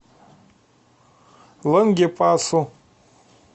лангепасу